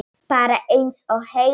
Bara eins og heima.